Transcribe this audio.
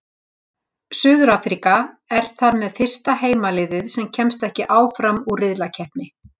Suður-Afríka er þar með fyrsta heimaliðið sem kemst ekki áfram úr riðlakeppni.